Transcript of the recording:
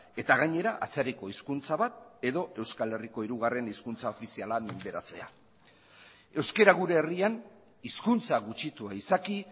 eta gainera atzerriko hezkuntza bat edo euskal herriko hirugarren hezkuntza ofiziala menderatzea euskara gure herrian hizkuntza gutxitua izaki